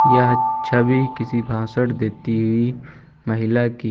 यह छवि किसी भाषण देती हुई महिला की--